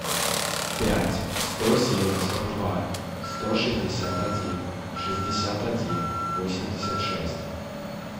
пять сто семьдесят два сто шестьдесят один шестьдесят один восемьдесят шесть